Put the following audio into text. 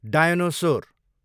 dinosaur